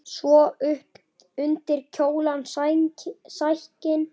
Svo upp undir kjólana sækinn!